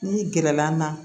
N'i gɛrɛla an na